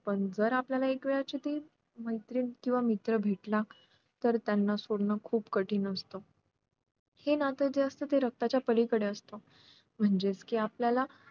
पण जर आपल्याला एक वेळाची ती मैत्रीण केंव्हा मित्र भेटला तर त्यांना सोडणं खुप कठीण असत हे नातं जे असत ते रक्ता च्या पलीकडे असत म्हणजेच कि आपल्याला